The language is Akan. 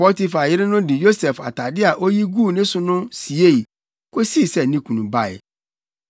Potifar yere no de Yosef atade a oyi guu ne so no siei, kosii sɛ ne kunu bae.